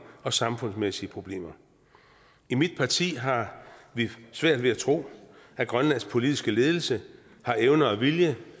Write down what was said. og samfundsmæssige problemer i mit parti har vi svært ved at tro at grønlands politiske ledelse har evne og vilje